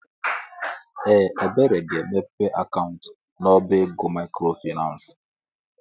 Ee! Ebere ga-emepe akaụntụ n'ọbá ego maịkrofaịnans.